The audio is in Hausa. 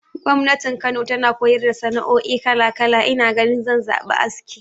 Gwamnati Kano tana koyar da sana'oi kala kala, ina ganin zan zaɓi aski.